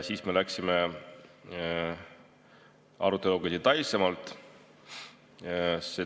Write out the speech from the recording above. Siis me läksime aruteluga detailsemaks.